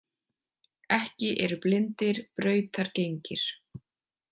Ekki eru blindir brautargengir.